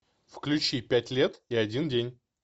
включи пять лет и один день